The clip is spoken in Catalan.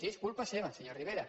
sí és culpa seva senyor rivera